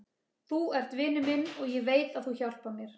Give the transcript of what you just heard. Þú ert vinur minn og ég veit að þú hjálpar mér.